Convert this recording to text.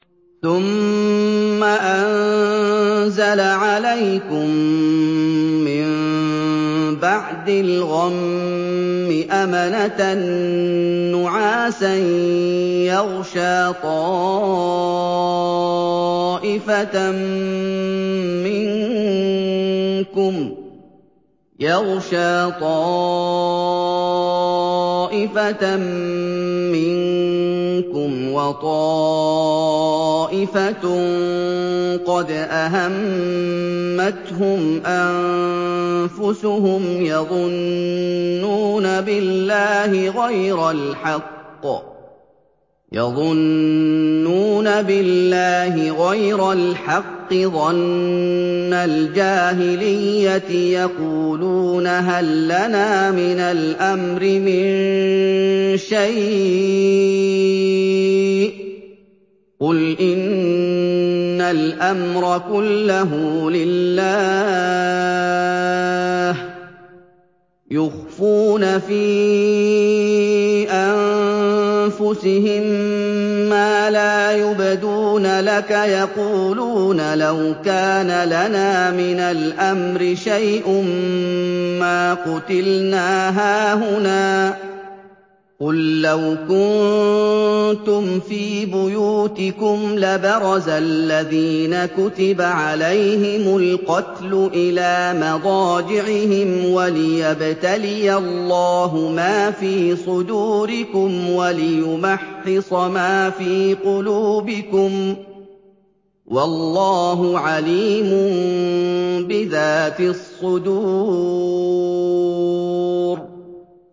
ثُمَّ أَنزَلَ عَلَيْكُم مِّن بَعْدِ الْغَمِّ أَمَنَةً نُّعَاسًا يَغْشَىٰ طَائِفَةً مِّنكُمْ ۖ وَطَائِفَةٌ قَدْ أَهَمَّتْهُمْ أَنفُسُهُمْ يَظُنُّونَ بِاللَّهِ غَيْرَ الْحَقِّ ظَنَّ الْجَاهِلِيَّةِ ۖ يَقُولُونَ هَل لَّنَا مِنَ الْأَمْرِ مِن شَيْءٍ ۗ قُلْ إِنَّ الْأَمْرَ كُلَّهُ لِلَّهِ ۗ يُخْفُونَ فِي أَنفُسِهِم مَّا لَا يُبْدُونَ لَكَ ۖ يَقُولُونَ لَوْ كَانَ لَنَا مِنَ الْأَمْرِ شَيْءٌ مَّا قُتِلْنَا هَاهُنَا ۗ قُل لَّوْ كُنتُمْ فِي بُيُوتِكُمْ لَبَرَزَ الَّذِينَ كُتِبَ عَلَيْهِمُ الْقَتْلُ إِلَىٰ مَضَاجِعِهِمْ ۖ وَلِيَبْتَلِيَ اللَّهُ مَا فِي صُدُورِكُمْ وَلِيُمَحِّصَ مَا فِي قُلُوبِكُمْ ۗ وَاللَّهُ عَلِيمٌ بِذَاتِ الصُّدُورِ